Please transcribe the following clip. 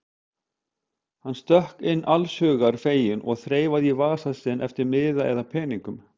Hann stökk inn allshugar feginn og þreifaði í vasa sinn eftir miða eða peningum.